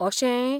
अशें ?